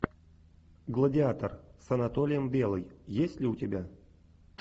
гладиатор с анатолием белый есть ли у тебя